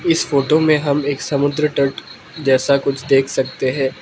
इस फोटो में हम एक समुद्र तट जैसा कुछ देख सकते हैं।